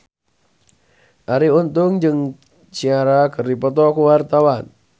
Arie Untung jeung Ciara keur dipoto ku wartawan